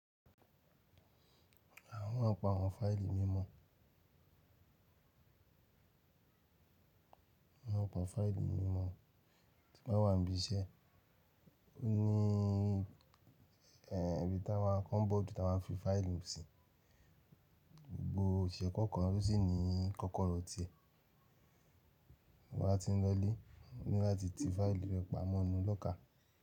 Awon maa n pa àwọn fáìlì mímọ́ tí máa ń wà níbi iṣẹ́ ní ẹ́bì tí a máa ń kọ́nbọ̀ ju tí a ma fi fáìlì mú síi. Gbo ìṣẹ́ kọ̀ọ̀kan ló sì ní kọ́kọ́rọ́ tẹ̀ tin ba ti ń lọ lé láti ti fáìlì rẹ̀ pamọ́ inú lọ́jà.